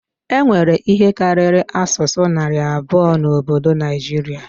E nwere ihe karịrị asụsụ narị abụọ n'obodo Naijiria